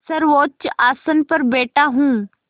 सर्वोच्च आसन पर बैठा हूँ